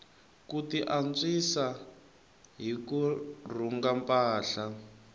ku tiantswisa hi ku rhunga mpahla